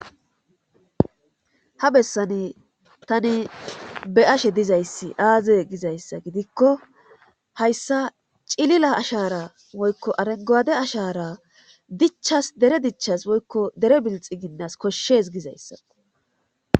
ha bessani tani be ashe dizayssi aaze gizayssa gidikko hayssa cilila ashara woykko arengoade ashara dichas dere dichas woykko dere bilxi ginnas koshshes gizayssa